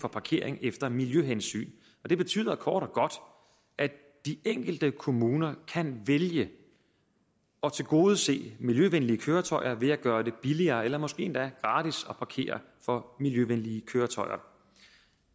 for parkering efter miljøhensyn det betyder kort og godt at de enkelte kommuner kan vælge at tilgodese miljøvenlige køretøjer ved at gøre det billigere eller måske endda gratis at parkere for miljøvenlige køretøjer